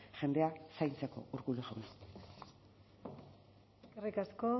jendea zaintzeko urkullu jauna eskerrik asko